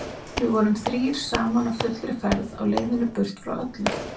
Við vorum þrír saman á fullri ferð á leiðinni burt frá öllu.